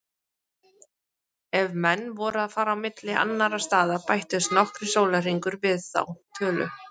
Ef menn voru að fara milli annarra staða bættust nokkrir sólarhringar við þá tölu.